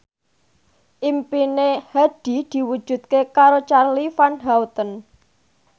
impine Hadi diwujudke karo Charly Van Houten